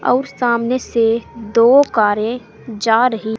और सामने से दो कारे जा रही--